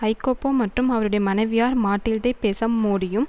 Iacopo மட்டும் அவருடைய மனைவியார் மாடில்தே பெசம் மோடியும்